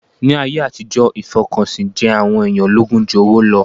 Ní ayé àtijọ́, ìfọkànsìn jẹ àwọn èèyàn lógún jú owó lọ